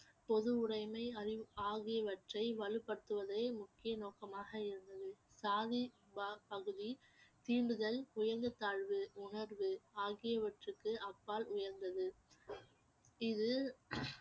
பொதுவுடைமை அறிவு ஆகியவற்றை வலுப்படுத்துவதே முக்கிய நோக்கமாக இருந்தது பகுதி தீண்டுதல் உயந்த தாழ்வு உணர்வு ஆகியவற்றிற்கு அப்பால் உயர்ந்தது இது